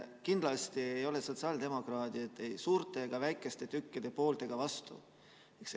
Kindlasti ei ole sotsiaaldemokraadid ei suurte ja väikeste tükkide poolt ega vastu.